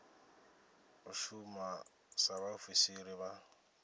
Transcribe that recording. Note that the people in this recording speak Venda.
u shuma sa vhaofisiri vha